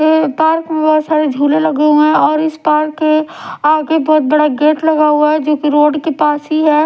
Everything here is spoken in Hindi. ये पार्क में बहुत सारे झूले लगे हुए हैं और इस पार्क के आगे बहुत बड़ा गेट लगा हुआ है जो की रोड के पास ही है।